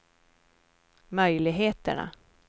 möjligheterna